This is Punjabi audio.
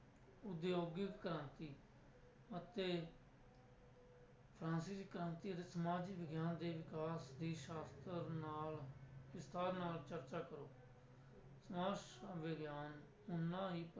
ਉਦਯੋਗਿਕ ਕ੍ਰਾਂਤੀ ਅਤੇ ਫਰਾਂਸਿਸ ਕ੍ਰਾਂਤੀ ਅਤੇ ਸਮਾਜ ਵਿਗਿਆਨ ਦੇ ਵਿਕਾਸ ਦੀ ਸ਼ਾਸਤਰ ਨਾਲ ਵਿਸਥਾਰ ਨਾਲ ਚਰਚਾ ਕਰੋ ਸਮਾਜ ਵਿਗਿਆਨ ਓਨਾ ਹੀ